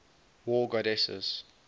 war goddesses